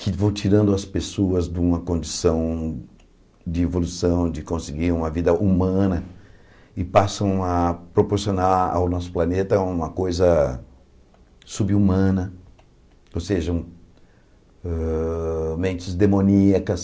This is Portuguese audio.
que vão tirando as pessoas de uma condição de evolução, de conseguir uma vida humana, e passam a proporcionar ao nosso planeta uma coisa sub-humana, ou seja, ah mentes demoníacas.